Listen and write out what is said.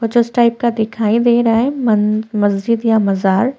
कुछ इस टाइप का दिखाई दे रहा है मन मस्जिद या मजार --